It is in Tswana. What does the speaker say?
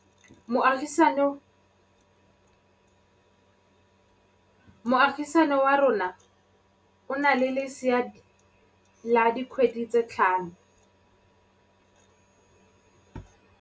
Moagisane wa rona o na le lesea la dikgwedi tse tlhano.